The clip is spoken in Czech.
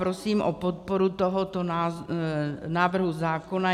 Prosím o podporu tohoto návrhu zákona.